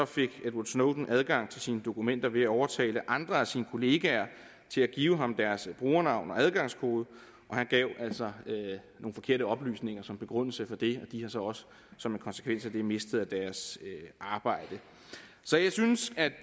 fik edward snowden adgang til sine dokumenter ved at overtale andre af sine kollegaer til at give ham deres brugernavn og adgangskode og han gav altså nogle forkerte oplysninger som begrundelse for det de har så også som en konsekvens af det mistet deres arbejde så jeg synes at